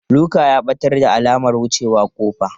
Luka ya ɓatar da alamar wucewa ƙofa.